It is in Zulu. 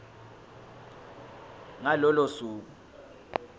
ngalo lolo suku